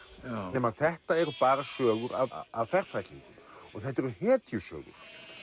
nema þetta eru bara sögur af af ferfætlingum og þetta eru hetjusögur